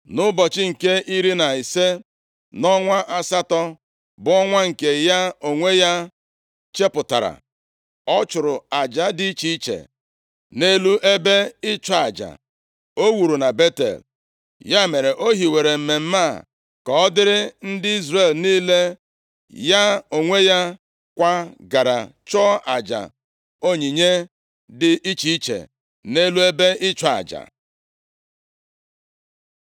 Nʼụbọchị nke iri na ise, nʼọnwa asatọ, bụ ọnwa nke ya onwe ya chepụtara, ọ chụrụ aja dị iche iche nʼelu ebe ịchụ aja o wuru na Betel. Ya mere, o hiwere mmemme a ka ọ dịịrị ndị Izrel niile; ya onwe ya kwa gara chụọ aja onyinye dị iche iche nʼelu ebe ịchụ aja.